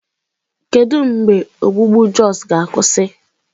Kedu mgbe ogbugbu na Jos ga-akwụsị?